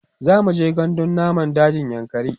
zamuje gandun namun dajin yankari